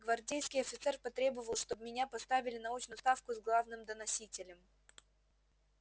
гвардейский офицер потребовал чтоб меня поставили на очную ставку с главным доносителем